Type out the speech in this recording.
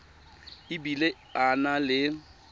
e bile a na le